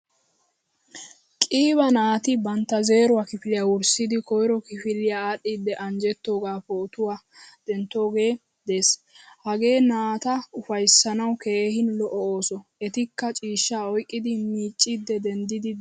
Qiiba naati bantta zeeruwaa kifiliyaa wurssidi koyro kidfiliyaa adhdhidi anjjettogaa pootuwaa denttoge de'ees. Hagee naata ufayssanawu keehin lo'o ooso. Ettika ciishshaa oyqqidi miccidi denddidi deosona.